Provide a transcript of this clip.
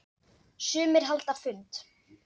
Sumir halda fund.